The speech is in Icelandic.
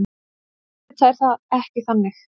Auðvitað er það ekki þannig.